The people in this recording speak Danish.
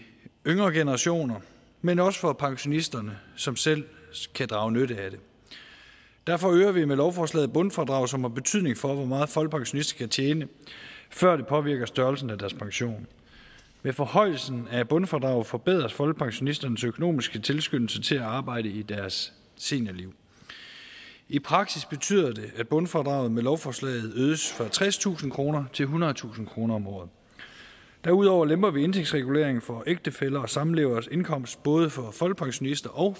yngre generationer men også for pensionisterne som selv kan drage nytte af det derfor øger vi med lovforslaget bundfradraget som har betydning for hvor meget folkepensionister kan tjene før det påvirker størrelsen af deres pension med forhøjelsen af bundfradraget forbedres folkepensionisternes økonomiske tilskyndelse til at arbejde i deres seniorliv i praksis betyder det at bundfradraget med lovforslaget øges fra tredstusind kroner til ethundredetusind kroner om året derudover lemper vi indeksreguleringen for ægtefællers og samleveres indkomst både for folkepensionister og